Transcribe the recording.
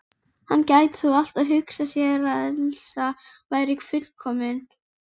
Hann gæti þó alltaf hugsað sér að Elísa væri fullkomin.